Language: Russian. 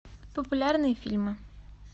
популярные фильмы